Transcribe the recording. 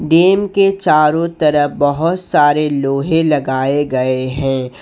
Dam के चारों तरफ बहुत सारे लोहे लगाए गए हैं।